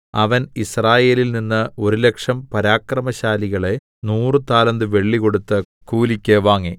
അവൻ യിസ്രായേലിൽനിന്ന് ഒരു ലക്ഷം പരാക്രമശാലികളെ നൂറു താലന്ത് വെള്ളി കൊടുത്ത് കൂലിക്ക് വാങ്ങി